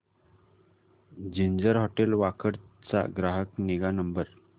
ginger hotel Wakad चा ग्राहक निगा नंबर